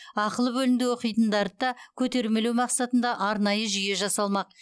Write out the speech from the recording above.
ақылы бөлімде оқитындарды да көтермелеу мақсатында арнайы жүйе жасалмақ